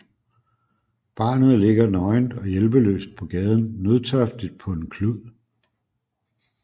Barnet ligger nøgent og hjælpeløst på gaden nødtørftigt på en klud